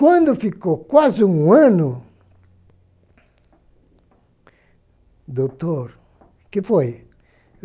Quando ficou quase um ano... Doutor, o que foi?